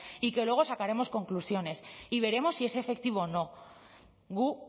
y que luego sacaremos conclusiones y veremos si es efectivo no gu